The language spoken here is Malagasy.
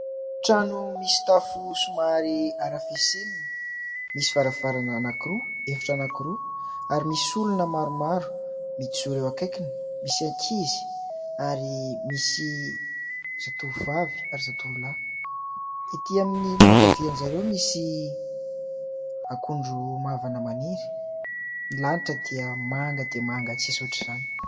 Trano misy tafo somary arafesenina, misy varavarana anankiroa, efitra anankiroa, ary misy olona maromaro mijoro eo akaikiny : misy ankizy ary misy zatovovavy ary zatovolahy. Ety amin'ny ilany ankavia an'i zareo misy akondro mavana maniry. Ny lanitra dia manga dia manga tsy misy hoatr'izany !